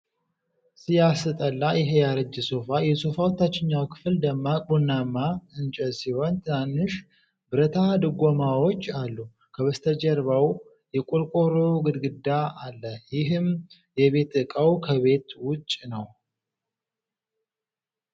ሲያስጠላ ይሄ ያረጀ ሶፋ! የሶፋው ታችኛው ክፍል ደማቅ ቡናማ እንጨት ሲሆን ትናንሽ ብረታ ድጎማዎች አሉ። ከበስተጀርባው የቆርቆሮ ግድግዳ አለ፣ ይህም የቤት ዕቃው ከቤት ውጭ ነው።